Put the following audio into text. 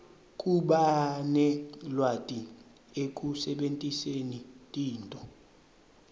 kubanelwati ekusebentiseni tinto